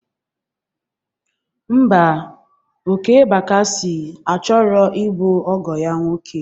Mba, Okey Bakasị a chọrọ ịbụ ọgọ ya nwoke